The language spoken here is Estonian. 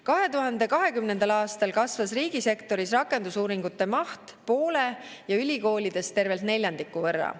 2020. aastal kasvas riigisektoris rakendusuuringute maht poole ja ülikoolides tervelt neljandiku võrra.